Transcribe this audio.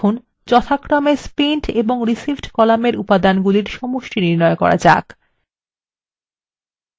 এখন আমাদের যথাক্রমে spent এবং received কলামের উপাদানগুলির সমষ্টি নির্ণয় করা যাক